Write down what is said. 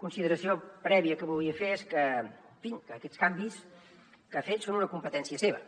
consideració prèvia que volia fer és que en fi que aquests canvis que ha fet són una competència seva